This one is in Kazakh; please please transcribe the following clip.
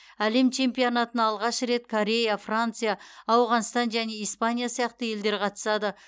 әлем чемпионатына алғаш рет корея франция ауғанстан және испания сияқты елдер қатысады